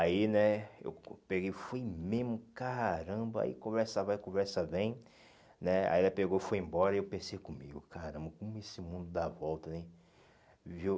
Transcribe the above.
Aí, né, eu peguei, fui mesmo, caramba, aí conversa vai, conversa vem, né, aí ela pegou, foi embora, e eu pensei comigo, caramba, como esse mundo dá volta, hein? Viu